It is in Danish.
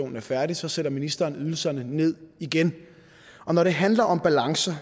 er færdig så sætter ministeren ydelserne ned igen og når det handler om balancer